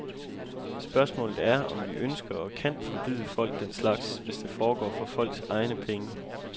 Spørgsmålet er, om vi ønsker og kan forbyde folk den slags, hvis det foregår for folks egne penge.